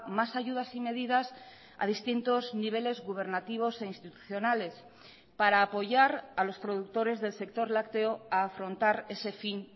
más ayudas y medidas a distintos niveles gubernativos e institucionales para apoyar a los productores del sector lácteo a afrontar ese fin